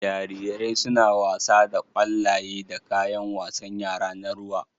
Jarirai suna wasa da ƙwallaye da kayan wasan yara na ruwa